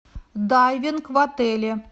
дайвинг в отеле